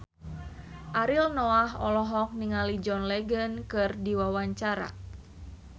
Ariel Noah olohok ningali John Legend keur diwawancara